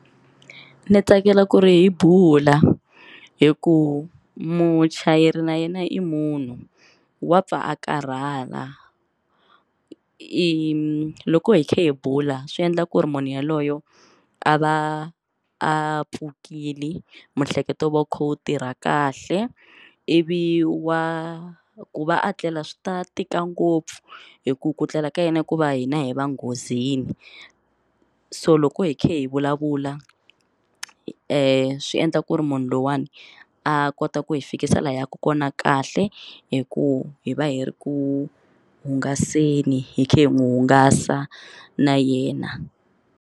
Ni tsakela ku ri hi bula hi ku muchayeri na yena i munhu wa pfa a karhala i loko hi kha hi bula swi endla ku ri munhu yaloyo a va a pfukile miehleketo va wu kha wu tirha kahle ivi wa ku va a tlela swi ta tika ngopfu hi ku ku tlela ka yena ku va hina hi va nghozini so loko hi kha hi vulavula hi endla ku ri munhu loyiwani a kota ku hi fikisa laha hi yaka kona kahle hi ku hi va hi ri ku hungaseni hi kha hi n'wi hungasa na yena.